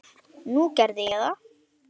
Nú, ég gerði það.